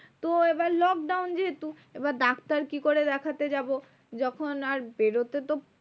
তো এবার lockdown যেহেতু, এবার ডাক্তার কি করে দেখতে যাবো? যখন আর বেরোতেতো